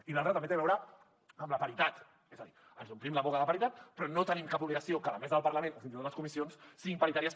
i l’altre també té a veure amb la paritat és a dir ens omplim la boca de paritat però no tenim cap obligació que la mesa del parlament o fins i tot les comissions siguin paritàries